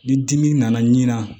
Ni dimi nana nin na